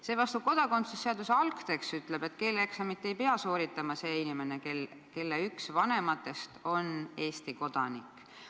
" Seevastu kodakondsuse seaduse algtekst ütleb, et keeleeksamit ei pea sooritama see inimene, kelle üks vanematest on Eesti kodanik.